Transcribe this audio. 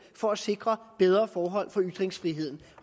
for at sikre bedre forhold for ytringsfriheden